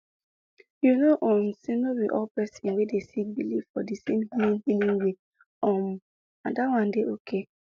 you know um say no be all person wey dey sick believe for di same healing healing way um and that one dey ok